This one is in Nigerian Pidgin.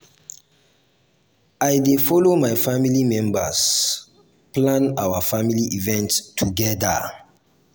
i dey folo my family members plan our family event togeda.